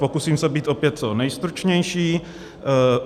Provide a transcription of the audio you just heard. Pokusím se být opět co nejstručnější.